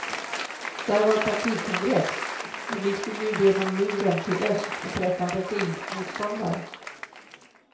Där var partikongress, men vi skulle ju igenom muren till öst och träffa en regimmotståndare.